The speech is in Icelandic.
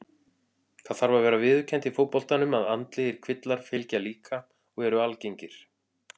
Það þarf að vera viðurkennt í fótboltanum að andlegir kvillar fylgja líka og eru algengir.